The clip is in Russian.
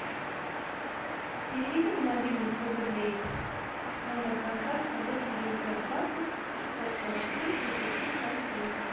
переведи на мобильный сто рублей номер контакта восемь девятьсот двадцать шестьсот сорок три тридцать три ноль три